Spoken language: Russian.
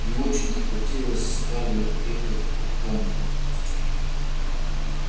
не очень-то хотелось скарлетт ехать в атланту